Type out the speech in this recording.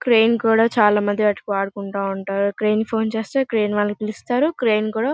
crane కూడా చాలా మంది అటు వాడుకుంటు ఉంటారు క్రేయిన్ కి ఫోన్ చేస్తే క్రేయిన్ వాళ్లను పిలుస్తారు క్రేయిన్ కూడా --